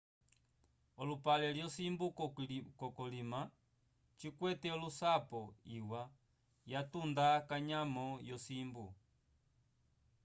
olupale lyo simbu ko kolina cikwete olusapo iwa ya tunda kanyamo yo simbu